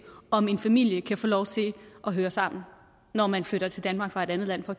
om en familie kan få lov til at høre sammen når man flytter til danmark fra et andet land for